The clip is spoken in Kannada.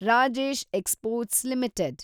Rajesh exports limited